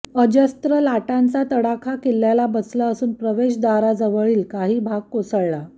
अजस्त्र लाटांचा तडाखा किल्ल्याला बसला असून प्रवेशद्वाराजवळील काही भाग कोसळला